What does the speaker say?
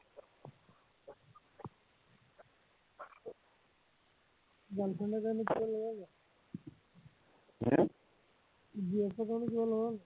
Girlfriend ৰ কাৰণে কিবা ললা নাই হম GF ৰ কাৰণে কিবা ললা নাই